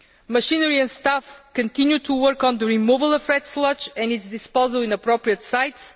Machinery and staff continue to work on the removal of the red sludge and its disposal in appropriate sites.